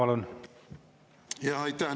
Aitäh!